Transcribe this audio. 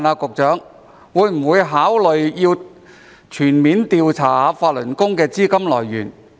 局長會否考慮全面調查法輪功的資金來源？